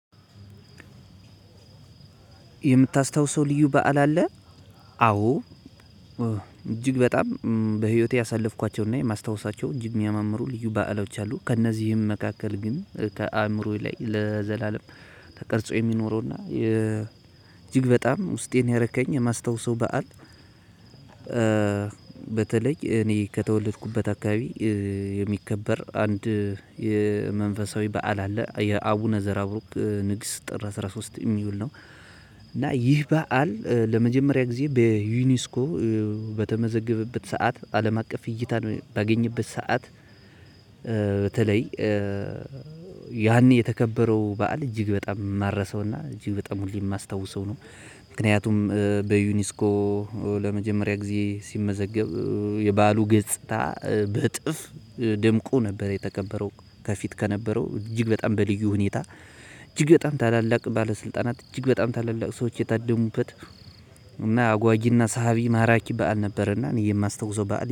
የምታስታውሰው ልዩ በዓል አለ? አዎ። እጅግ በጣም በህይወቴ ያሳለፍኳቸውና የማስታወሳቸው እጅግ የሚያመምሩ ልዩ በዓሎች አሉ። ከእነዚህም መካከል ግን ከአእምሮዬ ላይ ለዘላለም ተቀርጾ የሚኖረውና እጅግ በጣም ውስጤን ያረከኝ የማስታውሰው በዓል። በተለይ እኔ ከተወለድኩበት አካባቢ የሚከበር አንድ የመንፈሳዊ በዓል አለ የአቡነ ዘራቡርክ ንግስት ጥር አስራ ሶስት የሚውል ነው። እና ይህ በዓል ለመጀመሪያ ጊዜ በዩኔስኮ በተመዘገበበት ስዓት አለም አቀፍ እይታ በአገኘበት ስዓት። በተለይ ያን የተከበረው በዓል እጅግ በጣም የማረሰውና እጅግ በጣም ሁሌ የማስታውሰው ነው። ምክንያቱም በዩኒስኮ ለመጀመሪያ ጊዜ ሲመዘገብ የባሉ ገጽታ በእጥፍ ደምቆ ነበር። የተከበረው ከፊት ከነበረው እጅግ በጣም በልዩ ሁኔታ እጅግ በጣም ታላላቅ ባለስልጣናት እጅግ በጣም ታላላቅ ሰዎች የታደሙበት። እና አጓጊና ሳሃ ማራኪ በዓል ነበርና እኔ የማስታውሰው በዓል